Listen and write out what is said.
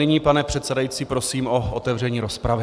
Nyní, pane předsedající, prosím o otevření rozpravy.